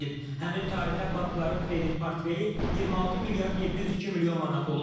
Həmin tarixə bankların kredit portfeli 26 milyard 702 milyon manat olub.